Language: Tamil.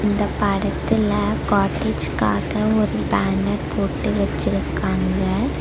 இந்த படத்துல காட்டேஜ்காக ஒரு பேனர் போட்டு வெச்சிருக்காங்க.